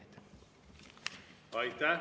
Aitäh!